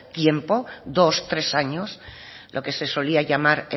tiempo dos tres años lo que se solía llamar